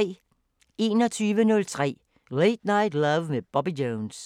21:03: Late Night Love med Bobby Jones